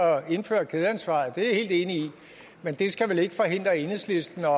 indføre kædeansvaret det er jeg helt enig i men det skal vel ikke forhindre enhedslisten